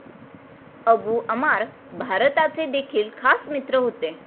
Abu Ammar भारताचे देखील खास मित्र होते.